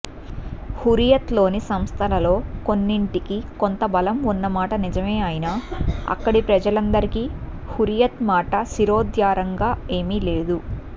హుర్రియత్లోని సంస్థలలో కొన్నింటికి కొంత బలం ఉన్నమాట నిజమే అయినా అక్కడి ప్రజలందరికీ హుర్రియత్ మాట శిరోధార్యంగా ఏమీ లేదు